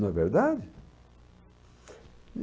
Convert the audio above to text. Não é verdade?